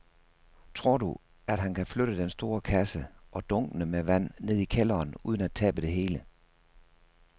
Tror du, at han kan flytte den store kasse og dunkene med vand ned i kælderen uden at tabe det hele?